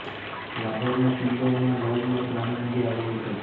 લાહોરનો કિલ્લોમાં લવનું એક નાનું મંદિર આવેલું છે